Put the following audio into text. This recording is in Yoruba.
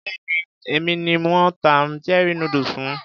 Béèni èmi ni wón ta cherie noodles fún.